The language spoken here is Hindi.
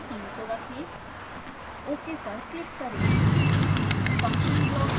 step time को 300 रखें ok पर क्लिक करें